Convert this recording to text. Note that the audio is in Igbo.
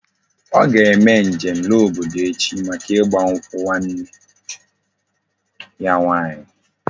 O ga eme njem la obodo echi maka igba nkwu nwanne ya nwanyi